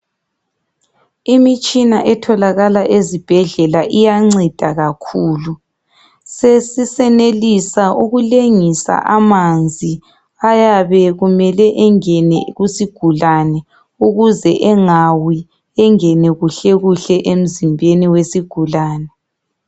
Imitshina etholakala ezibhedlela iyanceda kakhulu. Sesisenelisa ukulengisa amanzi ayabe kumele engene kusigulane ukuze engawi, engene kuhlekuhle emzimbeni wesigulane.